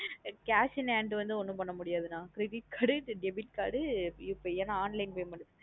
Cash in hand வந்து ஒன்னும் பண்ண முடியாது அண்ணா credit card உ இல்லை Debit Card உ UPI ஏன் நா online payment உ.